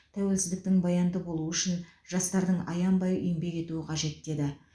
тәуелсіздіктің баянды болуы үшін жастардың аянбай еңбек етуі қажет деді